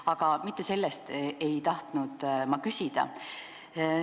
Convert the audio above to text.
Aga mitte selle kohta ei tahtnud ma küsida.